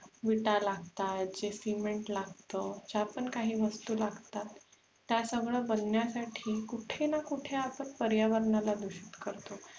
विटाला, CEMENT लागते, ज्या पण काही वस्तु लागतात त्या सगळ्या बनण्यासाठी आपण कुठे न कुठे आपण पर्यावरणाला दुषित करतो